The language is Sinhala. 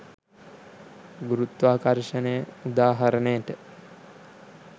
ගුරුත්වාකර්ෂණය උදාහරණයට